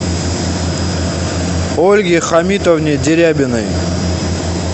ольге хамитовне дерябиной